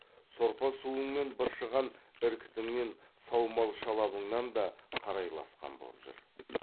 сорпа суың мен быршыған іркітіңнен саумал шалабыңнан да қарайласқан боп жүр